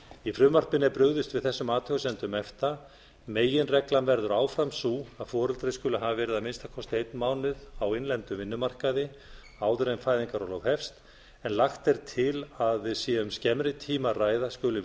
í frumvarpinu er burðist við þessum athugasemdum efta meginreglan verður áfram sú að foreldri skuli hafi verið að minnsta kosti einn mánuð á innlendum vinnumarkaði áður en fæðingarorlof hefst en lagt er til að við séum skemmri tíma að ræða skuli